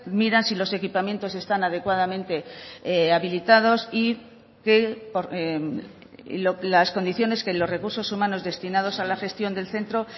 miran si los equipamientos están adecuadamente habilitados y que las condiciones que los recursos humanos destinados a la gestión del centro